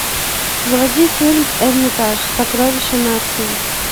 заводи фильм эрмитаж сокровища нации